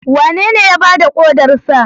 Wanene ya ba da kodarsa?